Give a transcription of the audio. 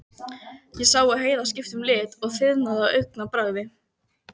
Ég sá að Heiða skipti litum og þiðnaði á augabragði.